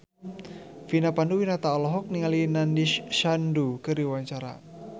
Vina Panduwinata olohok ningali Nandish Sandhu keur diwawancara